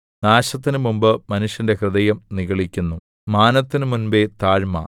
നാശത്തിന് മുമ്പ് മനുഷ്യന്റെ ഹൃദയം നിഗളിക്കുന്നു മാനത്തിന് മുമ്പെ താഴ്മ